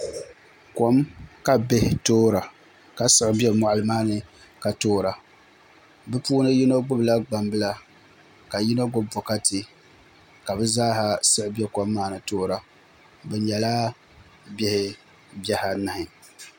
Kom ka bihi toora ka siɣi bɛ moɣali maa ni ka toora bi puuni yino gbubila gbambila ka yino gbubi bokati ka bi zaaha siɣi bɛ kom maa ni toora bi nyɛla bihi anahi